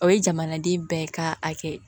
O ye jamanaden bɛɛ ka hakɛ ye